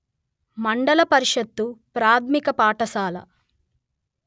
మండల పరిషత్తు ప్రాథమిక పాఠశాల